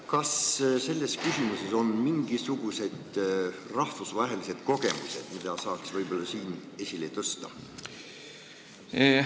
Kas selles küsimuses on mingisugused rahvusvahelised kogemused, mida saaks esile tõsta?